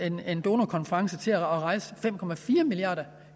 en donorkonference til at rejse fem milliarder